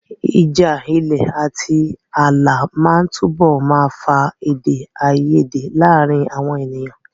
Ìjà ilẹ̀ àti ààlà máa túbọ̀ máa fa èdè àìyedè láàárín àwọn ènìyàn.